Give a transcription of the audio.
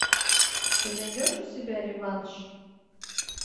ты найдешь у себя реванш